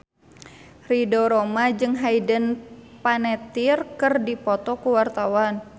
Ridho Roma jeung Hayden Panettiere keur dipoto ku wartawan